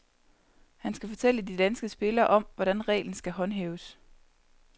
Han skal fortælle de danske spillere om, hvordan reglen skal håndhæves.